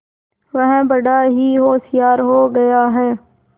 वह बड़ा ही होशियार हो गया है